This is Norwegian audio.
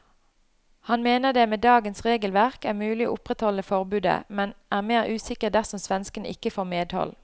Han mener det med dagens regelverk er mulig å opprettholde forbudet, men er mer usikker dersom svenskene ikke får medhold.